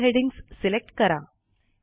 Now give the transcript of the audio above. सर्व headings select करा